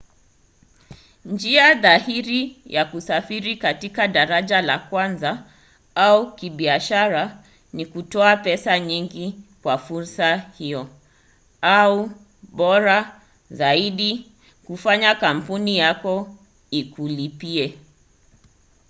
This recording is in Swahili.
njia dhahiri ya kusafiri katika daraja la kwanza au kibiashara ni kutoa pesa nyingi kwa fursa hiyo au bora zaidi kufanya kampuni yako ikulipie